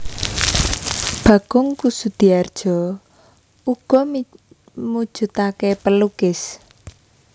Bagong Kussudiardja uga mujudake pelukis